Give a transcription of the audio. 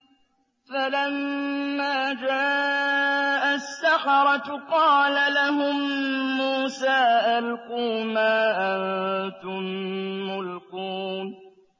فَلَمَّا جَاءَ السَّحَرَةُ قَالَ لَهُم مُّوسَىٰ أَلْقُوا مَا أَنتُم مُّلْقُونَ